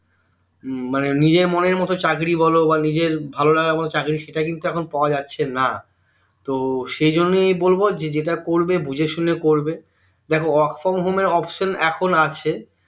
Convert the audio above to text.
মানে নিজের মনের মতো চাকরী বোলো বা নিজের ভালো লাগা কোনো চাকরী সেটা কিন্তু এখন পাওয়া যাচ্ছেনা তো সেই জন্যেই বলবো যে যেটা করবে বুঝে শুনে করবে দেখো work from home এর option এখন আছে